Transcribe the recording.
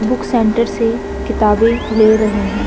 Book centre से किताबे ले रहे हैं।